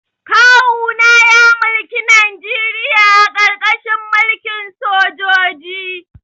Kawuna ya mulki Najeriya a karkashin mulkin sojoji